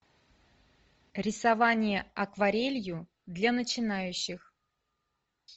рисование акварелью для начинающих